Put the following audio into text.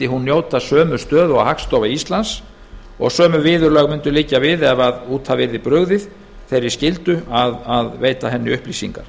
hún njóta sömu stöðu og hagstofa íslands og sömu viðurlög mundu liggja við ef brugðið yrði út af þeirri skyldu að veita henni upplýsingar